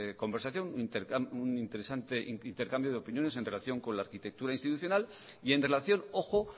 conversación un interesante intercambio de opiniones en relación con la arquitectura institucional y en relación ojo